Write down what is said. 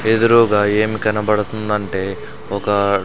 ఎదురుగా ఏమి కనబడుతుంది అంటే ఒక.